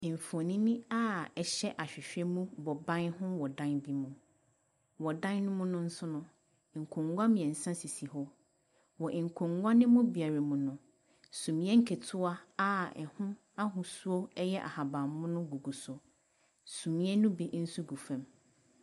Mfoni a ɛhyɛ ahwehwɛ mu bɔ ban ho wɔ dan bi mu. Wɔ dan no mu nso no, nkonwa mmiɛnsa sisi hɔ. Wɔ nkonwa no mu biara mu no, suneɛ nketewa a ɛho ahosuo ɛyɛ ahabanmono gu so. Suneɛ no bi nso gu fam.